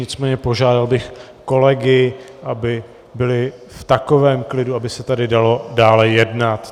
Nicméně požádal bych kolegy, aby byli v takovém klidu, aby se tady dalo dále jednat.